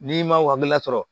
N'i ma whapp la sɔrɔ